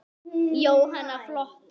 Jóhanna: Flottur?